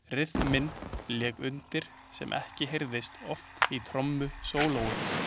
Ryþminn lék undir sem ekki heyrist oft í trommusólóum.